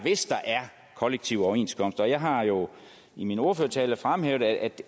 kollektive overenskomster jeg har jo i min ordførertale fremhævet at